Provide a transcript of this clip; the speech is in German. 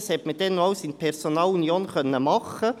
Das hat man damals alles in Personalunion machen können.